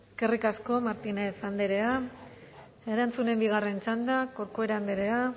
eskerrik asko martínez andrea erantzunen bigarren txanda corcuera andrea